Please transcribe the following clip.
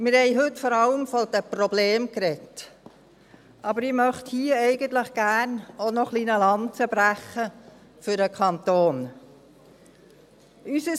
Wir haben heute vor allem von den Problemen gesprochen, aber ich möchte hier eigentlich gerne auch noch ein wenig eine Lanze für den Kanton brechen.